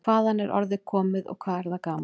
Hvaðan er orðið komið og hvað er það gamalt?